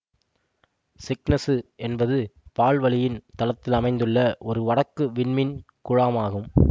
Cygnus என்பது பால் வழியின் தளத்தில் அமைந்துள்ள ஒரு வடக்கு விண்மீன் குழாம் ஆகும்